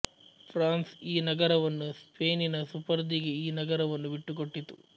France ಈ ನಗರವನ್ನು ಸ್ಪೇನಿನ ಸುಪರ್ದಿಗೆ ಈ ನಗರವನ್ನು ಬಿಟ್ಟುಕೊಟ್ಟಿತ್ತು